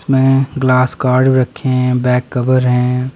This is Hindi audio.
इसमें ग्लास कार्ड रखे हैं बैक कवर हैं।